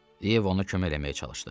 Yeva ona kömək eləməyə çalışdı.